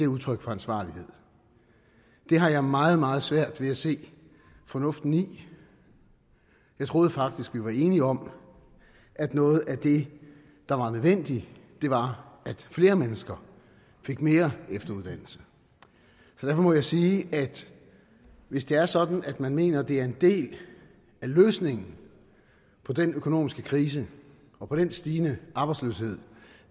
udtryk for ansvarlighed det har jeg meget meget svært ved at se fornuften i jeg troede faktisk vi var enige om at noget af det der var nødvendigt var at flere mennesker fik mere efteruddannelse derfor må jeg sige at hvis det er sådan at man mener det er en del af løsningen på den økonomiske krise og den stigende arbejdsløshed